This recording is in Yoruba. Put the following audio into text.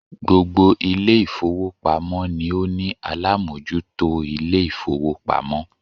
Gbogbo Ilé ìfowópamọ́ ni ó ní alámójútó Ilé ìfowópamọ́